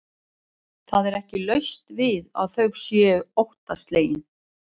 Það er ekki laust við að þau séu óttaslegin.